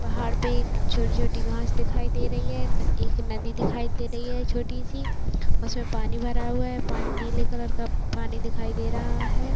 पहाड़ पे एक छोटी-छोटी घास दिखाई दे रही हैं। एक नदी दिखाई दे रही हैं छोटी सी। उस में पानी भरा हुआ हैं पानी नीले कलर का हैं ।